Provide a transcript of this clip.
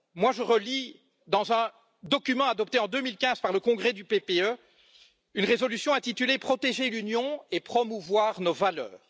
Je relis dans un document adopté en 2015 par le congrès du PPE une résolution intitulée Protéger l'Union et promouvoir nos valeurs.